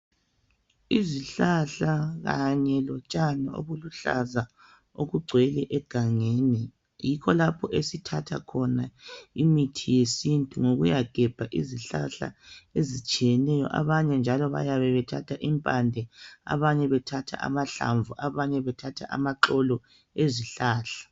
Izihlahla kanye lotshani okuluhlaza okugcwele egangeni. Yikho lapho esithatha khona imithi yesintu. Yikuyagebha izihlahla ezitshiyeneyo. Abanye njalo bayabe bethatha impande, abanye amaxolo abanye njalo amahlamvu ezihlahla.